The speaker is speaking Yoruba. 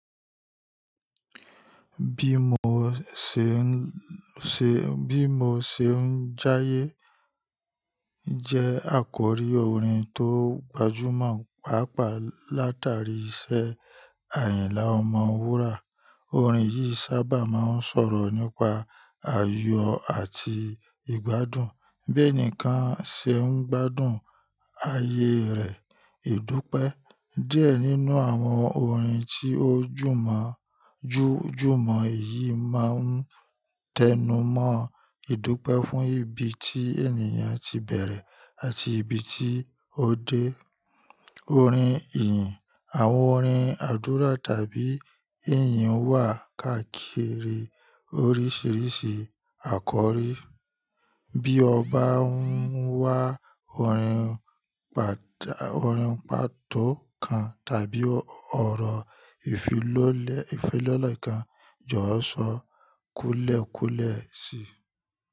Bí mo ṣe ń ṣe, bí mo ṣe ń jáyé jẹ́ àkọ́rí orin tó gbajúmọ̀ pàápàá látàrí iṣẹ́ Ayinla Ọmọwura. Orin yìí sábà máa ń sọ̀rọ̀ nípa ayọ̀ àti ìgbádùn, bí ẹnìkan ṣe ń gbádùn ayé rẹ̀. Ídúpẹ́. Díẹ̀ nínú àwọn orin tí ó jùmọ̀, jú jùmọ̀ yìí máa ń tẹnumọ́ ìdúpẹ́ fún ibi tí ènìyàn ti bẹ̀rẹ̀ àti ibi tí ó dé. Orin ìyìn. Àwọn orin àdúrà tàbí ìyìn wà káàkiri oríṣiríṣi àkọ́rí. Bí ọba ń wá, orin pàdá, orin pàtó kan tàbí ọ̀rọ̀ ìfilọ́lẹ̀, ìfilọ́lẹ̀ kan jọ̀wọ́ sọ kúùlẹ̀ kúùlẹ̀ síi.